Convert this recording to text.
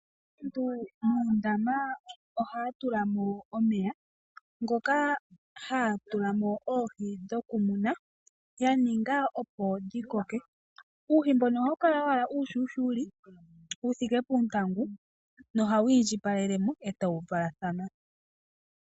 Aantu moondama ohaya tula mo omeya moka haya tula mo oohi dhoku muna ya ninga opo dhikoke ,uuhi mbuka ohawu kala uushushuka wuthike poontangu na ohawu iindjipalelemo eta wu valathana.